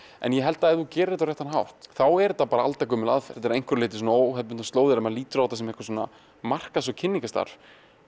en ég held að ef þú gerir þetta á réttan hátt þá er þetta bara aldagömul aðferð þetta eru að einhverju leyti óhefðbundnar slóðir ef þú lítur á þetta sem einhvers konar markaðs eða kynningarstarf